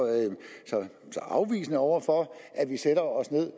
afvisende over for at vi sætter os ned